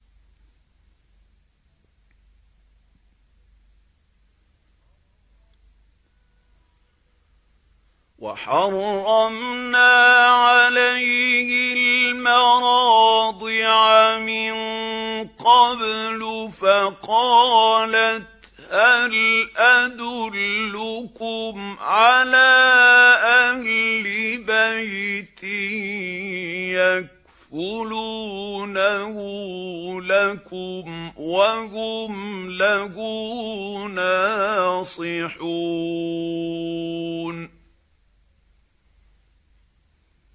۞ وَحَرَّمْنَا عَلَيْهِ الْمَرَاضِعَ مِن قَبْلُ فَقَالَتْ هَلْ أَدُلُّكُمْ عَلَىٰ أَهْلِ بَيْتٍ يَكْفُلُونَهُ لَكُمْ وَهُمْ لَهُ نَاصِحُونَ